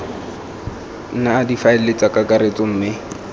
nna difaele tsa kakaretso mme